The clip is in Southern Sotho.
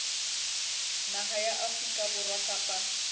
naha ya afrika borwa kapa